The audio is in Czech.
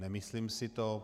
Nemyslím si to.